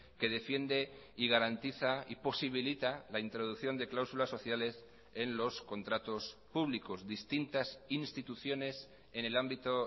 que defiende y garantiza y posibilita la introducción de cláusulas sociales en los contratos públicos distintas instituciones en el ámbito